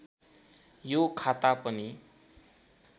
यो खाता पनि